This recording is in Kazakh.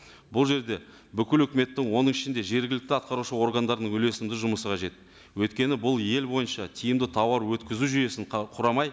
бұл жерде бүкіл үкіметтің оның ішінде жергілікті атқарушы органдардың үлесімді жұмысы қажет өйткені бұл ел бойынша тиімді тауар өткізу жүйесін құрамай